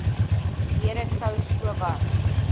deure sou sowat